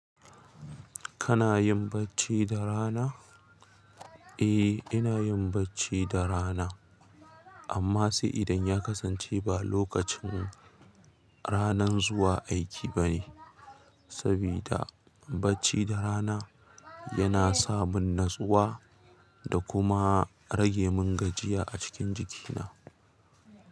Kana yin bacci da rana? Eh, ina yin bacci da rana, amma sai idan ya kasance ba lokacin ranan zuwa aiki bane, sabida bacci da rana yana sa mun natsuwa da kuma rage mun gajiya a cikin jikina.